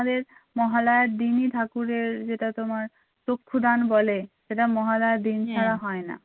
মহালয়ার দিনই ঠাকুরের যেটা তোমার চক্ষুদান বলে সেটা মহালয়ার দিন ছাড়া হয় না